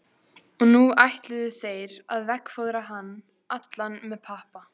Og nú ætluðu þeir að veggfóðra hann allan með pappa.